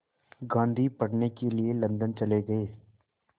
गांधी पढ़ने के लिए लंदन चले गए